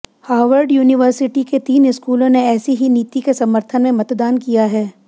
Harvard university के तीन स्कूलों ने ऐसी ही नीति के समर्थन में मतदान किया है